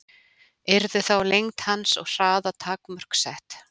yrðu þá lengd hans og hraða takmörk sett